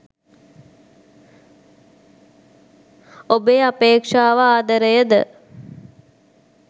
ඔබේ අපේක්ෂාව ආදරයද?